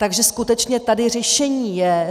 Takže skutečně tady řešení je.